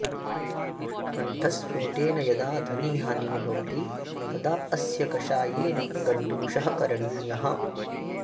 कण्ठस्फोटेन यदा ध्वनिहानिः भवति तदा अस्य कषायेन गण्डूषः करणीयः